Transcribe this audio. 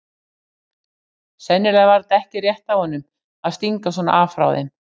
Sennilega var þetta ekki rétt af honum að stinga svona af frá þeim.